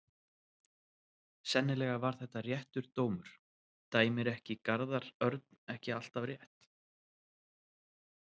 Sennilega var þetta réttur dómur, dæmir ekki Garðar Örn ekki alltaf rétt?